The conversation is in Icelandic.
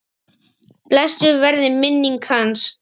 Blessuð verði minning hans.